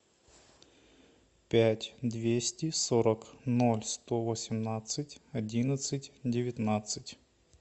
пять двести сорок ноль сто восемнадцать одиннадцать девятнадцать